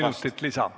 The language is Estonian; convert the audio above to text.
Kolm minutit lisa.